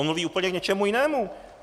On mluví úplně k něčemu jinému.